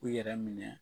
U yɛrɛ minɛ